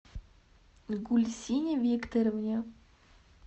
гульсине викторовне